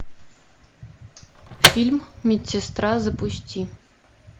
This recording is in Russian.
фильм медсестра запусти